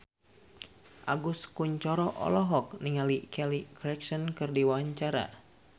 Agus Kuncoro olohok ningali Kelly Clarkson keur diwawancara